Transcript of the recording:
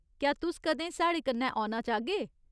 क्या तुस कदें साढ़े कन्नै औना चाह्गे?